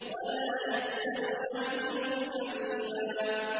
وَلَا يَسْأَلُ حَمِيمٌ حَمِيمًا